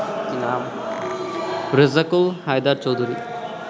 Rezzakul Haider Chowdhury